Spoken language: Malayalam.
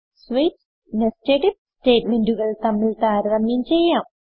സ്വിച്ച് nested ഐഎഫ് സ്റ്റേറ്റ്മെന്റുകൾ തമ്മിൽ താരതമ്യം ചെയ്യാം